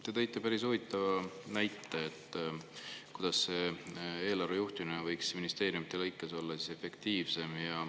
Te tõite päris huvitava näite, kuidas eelarve juhtimine võiks ministeeriumides olla efektiivsem.